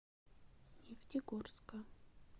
нефтегорска